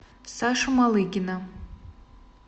сашу малыгина